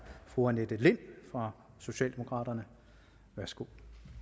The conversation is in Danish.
fru annette lind fra socialdemokraterne værsgo